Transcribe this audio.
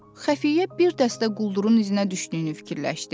Xəfiyyə bir dəstə quldurun izinə düşdüyünü fikirləşdi.